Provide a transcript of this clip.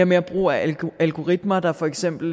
mere brug af algoritmer der for eksempel